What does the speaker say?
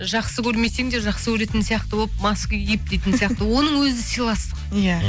жақсы көрмесең де жақсы көретін сияқты болып маска киіп дейтін сияқты оның өзі сыйластық иә